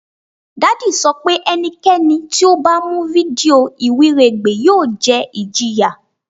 Daddy sọ pe ẹnikẹni ti o ba mu fidio iwiregbe yoo jẹ ijiya